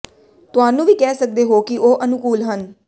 ਤੁਹਾਨੂੰ ਵੀ ਕਹਿ ਸਕਦੇ ਹੋ ਕਿ ਉਹ ਅਨੁਕੂਲ ਹਨ